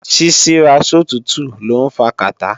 Ṣíṣíra sòtútù lọ́ ń fa kàtá